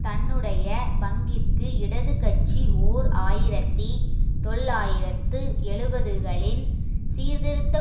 தன்னுடைய பங்கிற்கு இடது கட்சி ஓர் ஆயிரத்தி தொள்ளாயிரத்து எழுபதுகளின் சீர்திருத்த